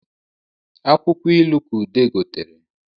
Akwụkwọ ilu ka ude gotere